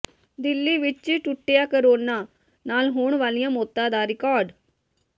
ਦਿੱਲੀ ਵਿੱਚ ਟੁੱਟਿਆ ਕੋਰੋਨਾ ਨਾਲ ਹੋਣ ਵਾਲੀਆਂ ਮੌਤਾਂ ਦਾ ਰਿਕਾਰਡ